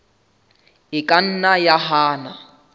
e ka nna ya hana